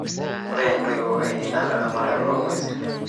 Ore ntoiwuo ainei naa laramatak loongwesi.